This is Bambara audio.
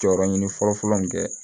Jɔyɔrɔ ɲini fɔlɔ fɔlɔ in kɛ